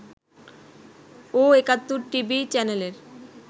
ও Ekattor TV চ্যানেলের